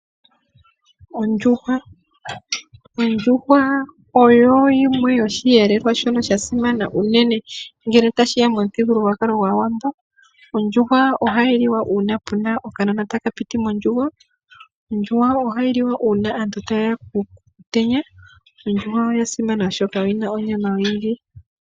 Ondjuhwa. Ondjuhwa oyo yimwe yoshiyelelwa sha simana ngele tashiya momuthigululwakalo goshiwambo. Ondjuhwa ohayi liwa uuna puna okanona taka pitithwa mondjugo . Ohayi liwa uuna aantu tayeya kuutenya. Ondjuhwa oya simana oshoka oyina onyama oyindji.